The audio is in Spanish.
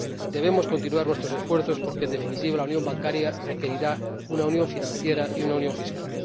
Debemos continuar nuestros esfuerzos porque, en definitiva, la unión bancaria requerirá una unión financiera y una unión fiscal.